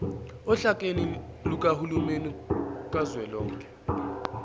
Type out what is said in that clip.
ohlakeni lukahulumeni kazwelonke